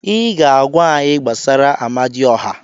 Ị ga-agwa anyị gbasara Amadioha.